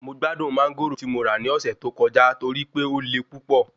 Mo gbádùn Mángòrò ti mo ra ní ọ̀sẹ̀ tó kọjá torí pé o le púpọ̀